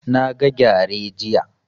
Na ga gyare jiya